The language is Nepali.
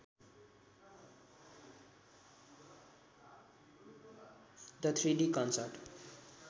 the ३ the concert